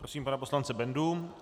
Prosím pana poslance Bendu.